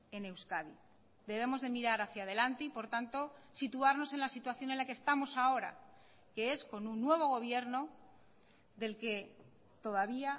en euskadi debemos de mirar hacia delante y por tanto situarnos en la situación en la que estamos ahora que es con un nuevo gobierno del que todavía